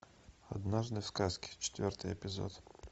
однажды в сказке четвертый эпизод